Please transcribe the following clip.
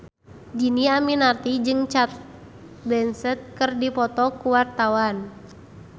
Dhini Aminarti jeung Cate Blanchett keur dipoto ku wartawan